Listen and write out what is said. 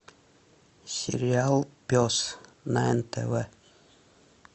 сериал пес на нтв